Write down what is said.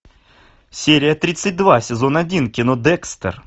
серия тридцать два сезон один кино декстер